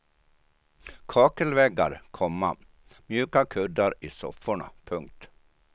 Kakelväggar, komma mjuka kuddar i sofforna. punkt